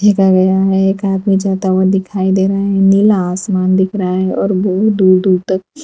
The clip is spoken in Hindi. देखा गया है एक आदमी जाता हुआ दिखाई दे रहा है नीला आसमान दिख रहा है और बहुत दूर दूर तक --